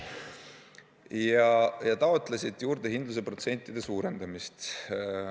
Ja nad taotlesid juurdehindluse protsentide suurendamist.